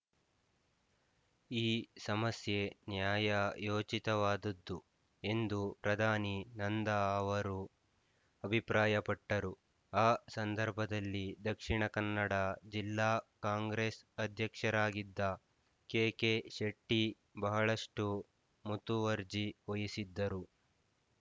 ಈ ಸಮಸ್ಯೆ ನ್ಯಾಯಯೋಚಿತವಾದುದ್ದು ಎಂದು ಪ್ರಧಾನಿ ನಂದಾ ಅವರು ಅಭಿಪ್ರಾಯಪಟ್ಟರು ಆ ಸಂದರ್ಭದಲ್ಲಿ ದಕ್ಷಿಣ ಕನ್ನಡ ಜಿಲ್ಲಾ ಕಾಂಗ್ರೆಸ್ ಅಧ್ಯಕ್ಷರಾಗಿದ್ದ ಕೆಕೆ ಶೆಟ್ಟಿ ಬಹಳಷ್ಟು ಮುತುವರ್ಜಿ ವಹಿಸಿದ್ದರು